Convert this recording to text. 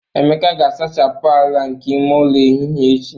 Emeka ga-asachapụ ala nke ime ụlọ ehihie echi